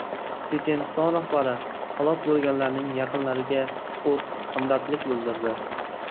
Checheniston rahbari halok bo‘lganlarning yaqinlariga chuqur hamdardlik bildirdi.